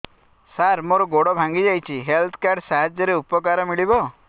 ସାର ମୋର ଗୋଡ଼ ଭାଙ୍ଗି ଯାଇଛି ହେଲ୍ଥ କାର୍ଡ ସାହାଯ୍ୟରେ ଉପକାର ମିଳିବ